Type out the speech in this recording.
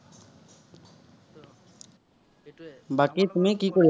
বাকী তুমি কি কৰি